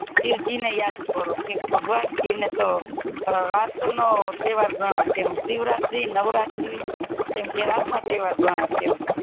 શિવજી ને યાદ કરો ભગવાન શિવ ને તો રાત નો તહેવાર ગણાય છે શિવરાત્રી નવરાત્રી એમ કે રાતનો તહેવાર ગણાય છે